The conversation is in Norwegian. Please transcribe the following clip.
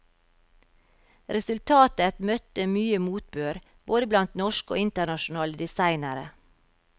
Resultatet møtte mye motbør, både blant norske og internasjonale designere.